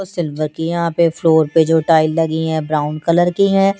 उस सिल्वर के यहाँ पर जो फ्लोर पे जो टाइल लगी है ब्राउन कलर की है।